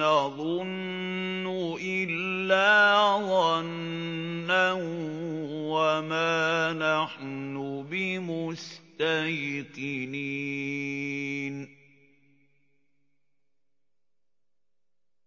نَّظُنُّ إِلَّا ظَنًّا وَمَا نَحْنُ بِمُسْتَيْقِنِينَ